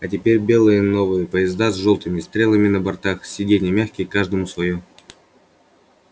а теперь белые новые поезда с жёлтыми стрелами на бортах сиденья мягкие каждому своё